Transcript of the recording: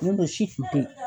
Nɔn tɛ o si kun te yen.